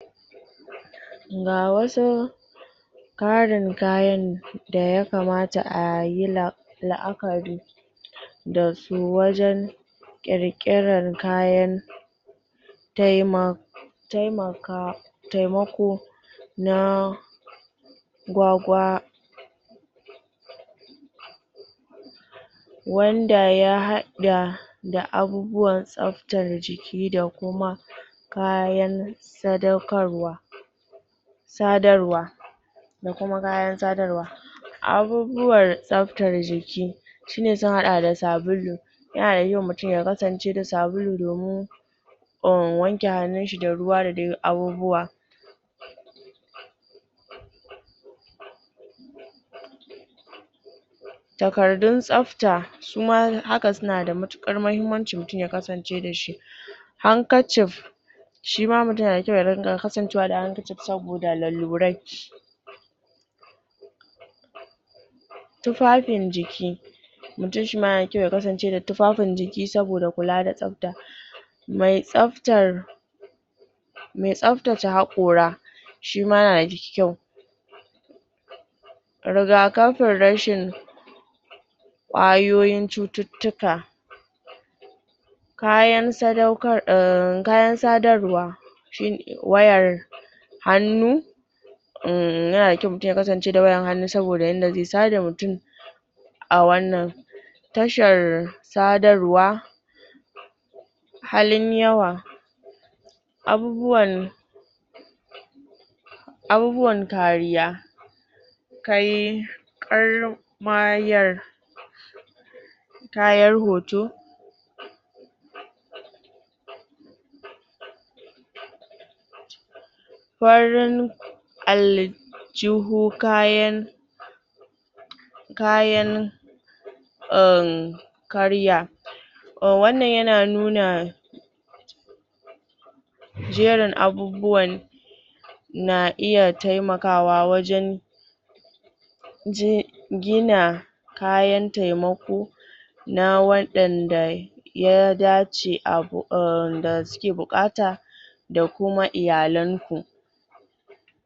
Ga wasu ƙarin kayan da yakamata a yi la'akari da su wajen taima taimaka taimako na gwagwa wanda ya haɗa da abubuwan tsabtar jiki da kuma kayan sadaukarwa sadarwa da kuma kayan sadarwa abubuwar tsabtar jiki shi ne suka haɗa da sabulu yana da kyau mutun ya kasance da sabulu domin um, wanke hannun shi da ruwa da dai abubuwa takardun tsabta su ma haka suna da matuƙar mahimmanci mutun ya kasance da shi handkercheif shi ma mutun yana da kyau ya dinga kasancewa da handkerchief saboda lalurai tufafin jiki mutun shi ma yana da kyau ya kasance da tufafin jiki saboda kula da tsabta mai tsabtar me tsabtace haƙora shi ma yana da kyau rigakafin rashin ƙwayoyin cututtuka kayan sadarwa shi ne wayar hannu uhm, yana da kyau mutun ya kasance da wayar hannu saboda inda zai sada mutun a wannan tashar sadarwa halin yawa abubuwan abubuwan kariya kai ƙarmayar kayan hoto farin aljihu kayan kayan um, karya oh, wannan yana nuna jerin abubuwan na iya taimakawa wajen je gina kayan taimako na waɗanda ya dace um, da suke buƙata da kuma iyalan ku.